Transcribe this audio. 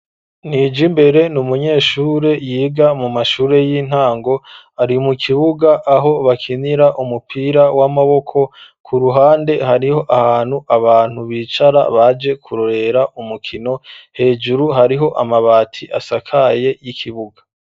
Nijimbere, n'umunyeshure yiga mu mashure y'intango, ari mu kibuga aho bakinira umupira w'amaboko, ku ruhande hariho ahantu abantu bicara baje kurorera umukino, hejuru hariho amabati asakaye ikibuga.